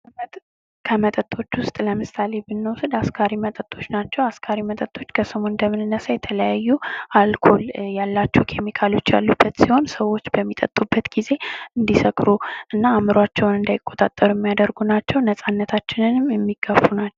ከመጠጦች ዉስጥ ለምሳሌ ብንወስድ አስካሪ መጠጦች ናቸው አስካሪ መጠጦች ከስሙ እንደምንነሳ የተለያዩ አልኮል ያላቸው ኬሚካሎች ያሉበት ሲሆን ሰዎች በሚጠጡበት ጊዜ እንዲሰክሩ እና አእምሯቸውን እንዳይቆጣጠሩ የሚያደርጉ ናቸው ነጻነታችንንም የሚጋፉ ናቸው።